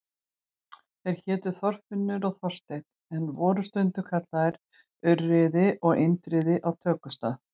Þeir hétu Þorfinnur og Þorsteinn en voru stundum kallaðir Urriði og Indriði á tökustað.